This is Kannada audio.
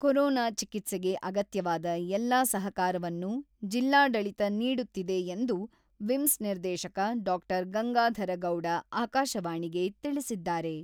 ಕೊರೋನಾ ಚಿಕಿತ್ಸೆಗೆ ಅಗತ್ಯವಾದ ಎಲ್ಲಾ ಸಹಕಾರವನ್ನು ಜಿಲ್ಲಾಡಳಿತ ನೀಡುತ್ತಿದೆ ಎಂದು ವಿಮ್ಸ್ ನಿರ್ದೇಶಕ ಡಾ.ಗಂಗಾಧರಗೌಡ ಆಕಾಶವಾಣಿಗೆ ತಿಳಿಸಿದ್ದಾರೆ.